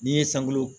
N'i ye sankolo